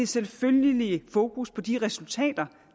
selvfølgeligt fokus på de resultater